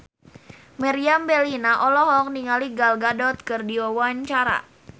Meriam Bellina olohok ningali Gal Gadot keur diwawancara